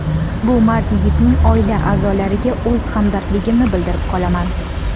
Bu mard yigitning oila a’zolariga o‘z hamdardligimni bildirib qolaman.